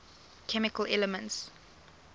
chemical elements